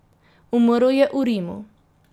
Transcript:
Umrl je v Rimu.